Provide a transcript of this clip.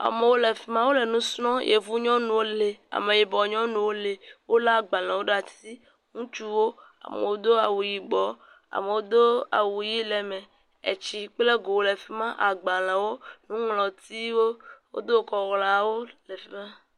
Amewo le fima. Wole nu srɔm, yevu nyɔnu wole. Wole agbalẽwo ɖe asi, ŋutsuwo, amewo do awu yibɔ. Amewo do awu ʋi le eme. Etsi kple go le efima. Agbalẽwo, nuŋlɔtiwo, wodo kɔ gawo le fima.